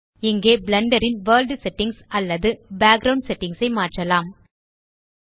இங்கே பிளெண்டர் ன் world settings அல்லது பேக்கிரவுண்ட் செட்டிங்ஸ் ஐ மாற்றலாம்